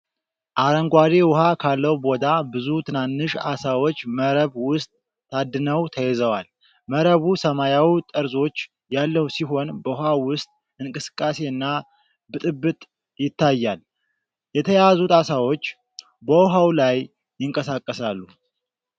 አረንጓዴ ውሃ ካለው ቦታ ብዙ ትናንሽ ዓሦች መረብ ውስጥ ታድነው ተይዘዋል። መረቡ ሰማያዊ ጠርዞች ያለው ሲሆን፣ በውሃ ውስጥ እንቅስቃሴና ብጥብጥ ይታያል። የተያዙት ዓሦች በውሃው ላይ ይንቀሳቀሳሉ።